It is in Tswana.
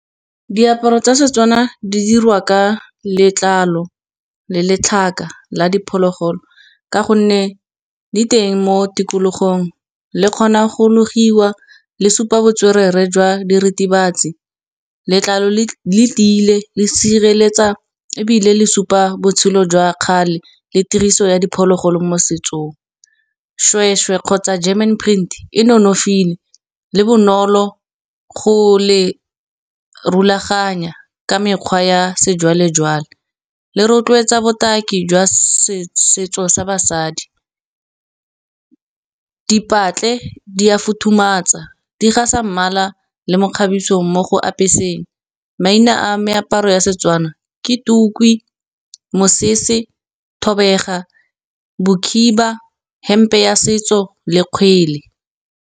Diaparo tsa Setswana di dirwa ka letlalo le letlhaka la diphologolo, ka gonne di teng mo tikologong le kgona go logogiwa. Le supa botswerere jwa diritibatsi, letlalo le tiile le sireletsa ebile le supa botshelo jwa kgale le tiriso ya diphologolo mo setsong. Shwe-shwe kgotsa German print e nonofile, le bonolo go le rulaganya, ka mekgwa ya sejwale-jwale, le rotloetsa botaki jwa setso sa basadi. Dipatle di a futhumatsa di ga sa mmala la le mekgabiso mo go apeseng. Maina a meaparo ya Setswana ke tukwi, mosese, thobega, bokhiba hempe ya setso le kgwele.